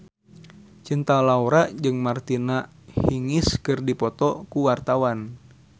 Cinta Laura jeung Martina Hingis keur dipoto ku wartawan